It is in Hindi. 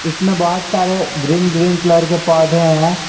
इसमें बहोत सारे ग्रीन ग्रीन कलर के पौधे हैं।